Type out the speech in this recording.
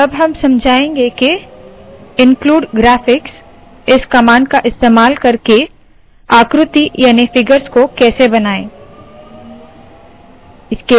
अब हम समझाएंगे के include graphicsइन्क्लूड ग्राफिक्स इस कमांड का इस्तेमाल करके आकृति याने फिगर्स को कैसे बनाए